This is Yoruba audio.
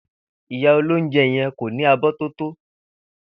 Ìyá olóúnje̩ ye̩n kò ní abó̩ tó tó